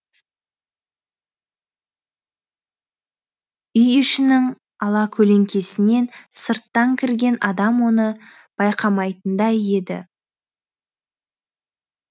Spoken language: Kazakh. үй ішінің алакөлеңкесінен сырттан кірген адам оны байқамайтындай еді